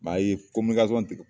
a ye tigɛ.